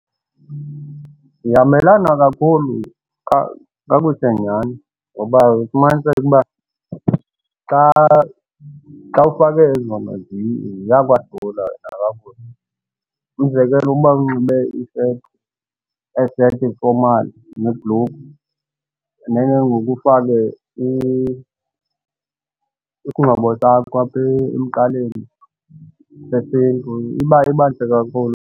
Zihambelana kakhulu kakuhle nyhani ngoba ufumaniseke uba xa ufake zona ziyakwazi umzekelo ukuba unxibe i-shirt, ezi shirt zi-formal nebhlukhwe, then ke ngoku ufake isingxobo sakho apha emqaleni sesiNtu iba ntle kakhulu.